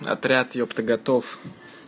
отряд ёпта готов